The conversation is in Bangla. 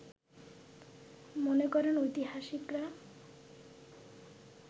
মনে করেন ঐতিহাসিকরা